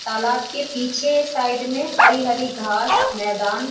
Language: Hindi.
तालाब के पीछे साइड में हरी-हरी घास मैदान --